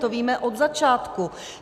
To víme od začátku.